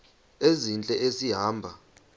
ezintle esi hamba